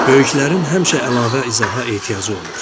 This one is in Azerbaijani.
Böyüklərin həmişə əlavə izaha ehtiyacı olur.